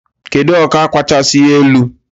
Kedu ọkwa kachasị elu?